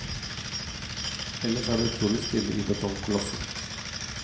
Ellers er det utrolig stille i betongkolossen.